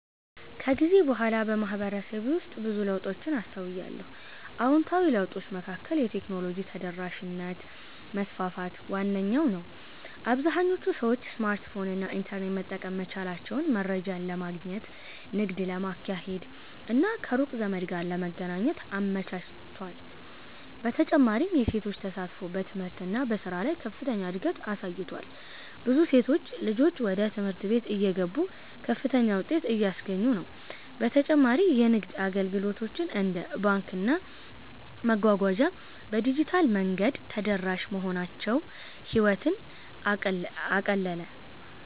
ከጊዜ በኋላ በማህበረሰቤ ውስጥ ብዙ ለውጦችን አስተውያለሁ። አዎንታዊ ለውጦቹ መካከል የቴክኖሎጂ ተደራሽነት መስፋፋት ዋነኛው ነው - አብዛኞቹ ሰዎች ስማርትፎን እና ኢንተርኔት መጠቀም መቻላቸው መረጃን ለማግኘት፣ ንግድ ለማካሄድ እና ከሩቅ ዘመድ ጋር ለመገናኘት አመቻችቷል። በተጨማሪም የሴቶች ተሳትፎ በትምህርት እና በሥራ ላይ ከፍተኛ እድገት አሳይቷል፤ ብዙ ሴት ልጆች ወደ ትምህርት ቤት እየገቡ ከፍተኛ ውጤት እያስገኙ ነው። በተጨማሪ የንግድ አገልግሎቶች እንደ ባንክና መጓጓዣ በዲጂታል መንገድ ተደራሽ መሆናቸው ህይወትን አቀለጠ።